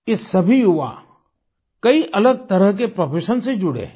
ये सभी युवा कई अलग तरह के प्रोफेशन से जुड़े हुए हैं